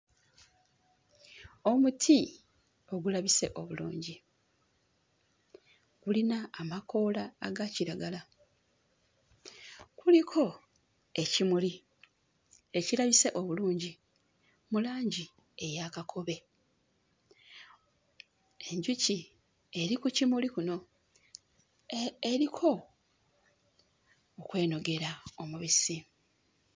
Omuti ogulabise obulungi. Gulina amakoola aga kiragala, kuliko ekimuli ekirabise obulungi mu langi eya kakobe. Enjuki eri ku kimuli kuno eriko okwenogera omubisi.